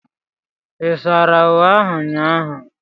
Ị sara uwe ahu ụnyaahụ?